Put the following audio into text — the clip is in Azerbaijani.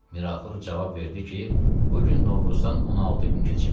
Miraxur cavab verdi ki, bu gün Novruzdan 16 gün keçibdir.